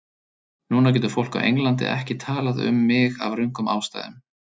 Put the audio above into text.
Núna getur fólk á Englandi ekki talað um mig af röngum ástæðum.